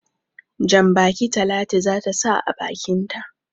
Jan-baki Talatu za ta sa a bakinta.